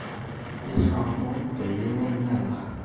Isampu peyie meinyala